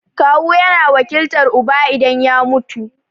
Kawu yana wakiltar uba idan ya mutu.